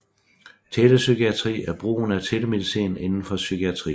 Telepsykiatri er brugen af telemedicin inden for psykiatrien